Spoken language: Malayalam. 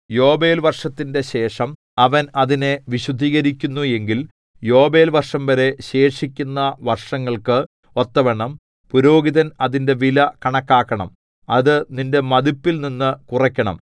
യോബേൽവർഷത്തിന്റെ ശേഷം അവൻ അതിനെ വിശുദ്ധീകരിക്കുന്നു എങ്കിൽ യോബേൽ വർഷംവരെ ശേഷിക്കുന്ന വർഷങ്ങൾക്ക് ഒത്തവണ്ണം പുരോഹിതൻ അതിന്റെ വില കണക്കാക്കണം അത് നിന്റെ മതിപ്പിൽനിന്നു കുറയ്ക്കണം